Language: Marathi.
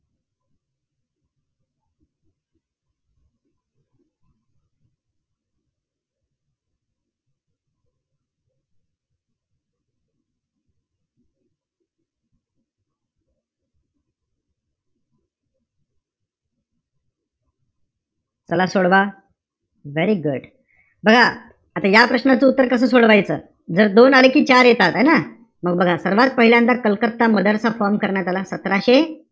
चला सोडवा. very good. बघा या प्रश्नाचं उत्तर कस सोडवायचं. जर दोन आले कि चार येतात. है ना? मग बघा. सर्वात पहिल्यांदा कलकत्ता मदरसा form करण्यात आला. सतराशे,